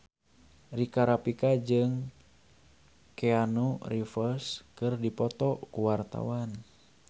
Rika Rafika jeung Keanu Reeves keur dipoto ku wartawan